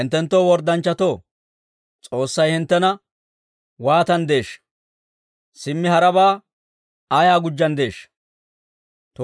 Hinttenoo worddanchchatoo, S'oossay hinttena waatanddeeshsha? Simmi harabaa ayaa gujjanddeeshsha?